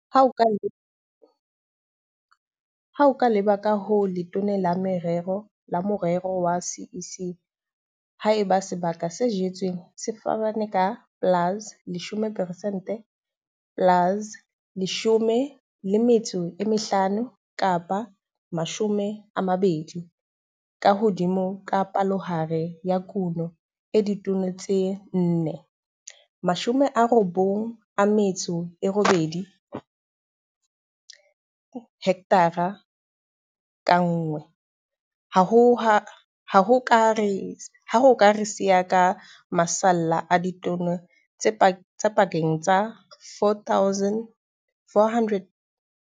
Ha o leba ka ho le letona la morero wa CEC, ha eba sebaka se jetsweng se fapana ka plus 10 peresente, plus 15 kapa 20 ka hodimo ka palohare ya kuno ya ditone tse 4, 98 hekthara ka nngwe, hona ho ka re siya ka masalla a ditone tse pakeng tsa 4 809 624 le 6 027 703.